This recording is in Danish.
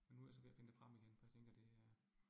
Men nu jeg så ved at finde det frem igen, for jeg tænker det øh